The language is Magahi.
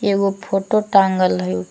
एगो फोटो टांगल हई ।